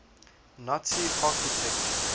nazi architecture